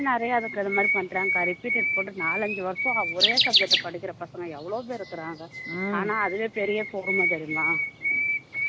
நிறைய அதுக்கு இது மாதிரி பண்றாங்க அக்கா repeated போட்டு நாலைஞ்சு வருஷம் ஒரே subject அ படிக்கிற பசங்க எவ்ளோ பேர் இருக்குறாங்க ஆனா அதுவே பெரிர பொறுமை தெரியுமா